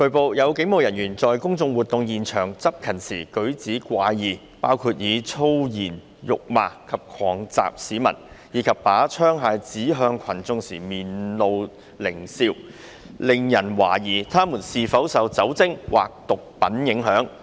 據報，有警務人員在公眾活動現場執勤時舉止怪異，包括以粗言辱罵及狂襲市民，以及把槍械指向群眾時面露獰笑，令人懷疑他們是否受酒精或毒品影響。